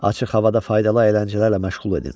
Açıq havada faydalı əyləncələrlə məşğul edin.